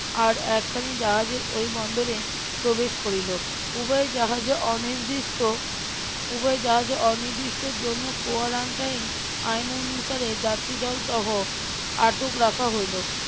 আর একখানি জাহাজে ওই বন্দরে প্রবেশ করিল উভয় জাহাজে অনির্দিষ্ট উভয় জাহাজে অনির্দিষ্টর জন্য quarantine আইন অনুসারে যাত্রীদল সহ আটক রাখা হইল.